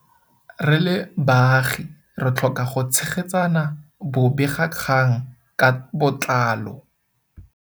Re le baagi re tlhoka go tshegetsa bobegakgang ka botlalo.